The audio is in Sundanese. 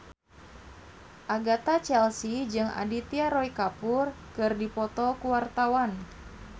Agatha Chelsea jeung Aditya Roy Kapoor keur dipoto ku wartawan